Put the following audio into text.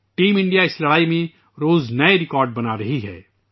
team India اس جنگ میں روزانہ نئے ریکارڈ بنا رہی ہے